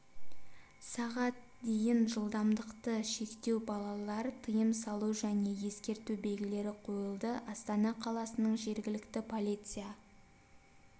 сағ дейін жылдамдықты шектеу балалар тыйым салу және ескерту белгілері қойылды астана қаласының жергілікті полиция